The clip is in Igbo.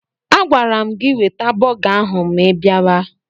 Agwara m gị weta bọga ahụ ma ị biaba!